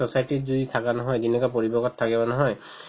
society ত যদি থাকা নহয় যেনেকুৱা পৰিৱেশত থাকে নহয়